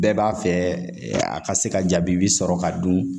Bɛɛ b'a fɛ a ka se ka jaabi sɔrɔ ka dun